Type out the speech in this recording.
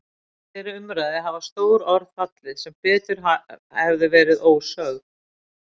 Í þeirri umræðu hafa stór orð fallið sem betur hefðu verið ósögð.